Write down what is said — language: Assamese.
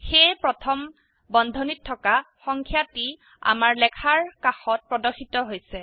সেয়ে প্ৰথম বন্ধনীত থকা সংখ্যাটি আমাৰ লেখাৰ কাষত প্ৰদৰ্শিত হৈছে